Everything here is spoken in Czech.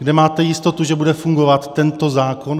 Kde máte jistotu, že bude fungovat tento zákon?